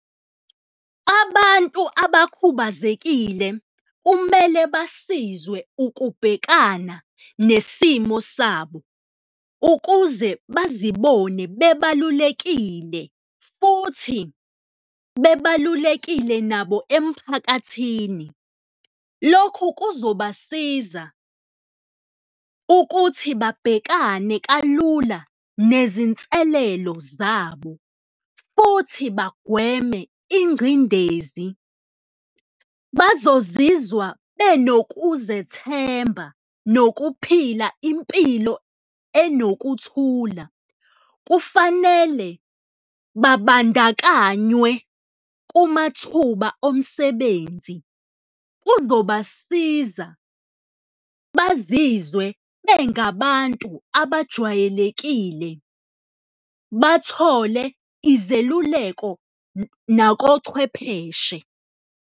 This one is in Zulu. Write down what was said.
Abantu abakhubazekile kumele basizwe ukubhekana nesimo sabo ukuze bazibone bebalulekile futhi bebalulekile nabo emphakathini, lokhu kuzobasiza ukuthi babhekane kalula nezinselelo zabo futhi bagweme ingcindezi, bazozizwa benokuzethemba nokuphila impilo enokuthula. Kufanele babandakanywe kumathuba omsebenzi, kuzobasiza bazizwe bengabantu abajwayelekile, bathole izeluleko nakochwepheshe.